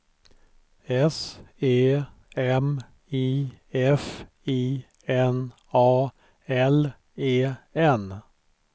S E M I F I N A L E N